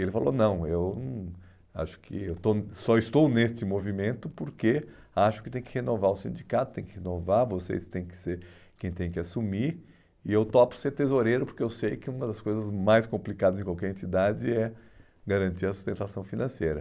Ele falou, não, eu não acho que eu estou só estou neste movimento porque acho que tem que renovar o sindicato, tem que renovar vocês, tem que ser quem tem que assumir e eu topo ser tesoureiro porque eu sei que uma das coisas mais complicadas em qualquer entidade é garantir a sustentação financeira.